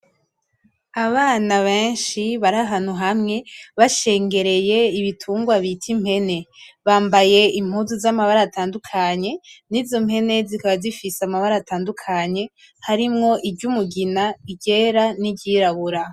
Abana beshi barahantu hamwe bashengereye ibitungwa bita impene bambaye impuzu z'amabara atandukanye nizo mpene zikaba zifise amabara atandukanye harimwo iryumugina iryera n'iryirabura.